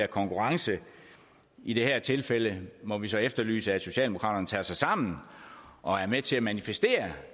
konkurrence i det her tilfælde må vi så efterlyse at socialdemokraterne tager sig sammen og er med til at manifestere